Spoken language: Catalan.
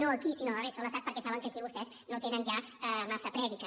no aquí sinó a la resta de l’estat perquè saben que aquí vostès no tenen ja massa prèdica